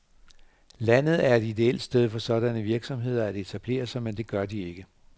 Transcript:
Landet er et idéelt sted for sådanne virksomheder at etablere sig, men de gør det ikke.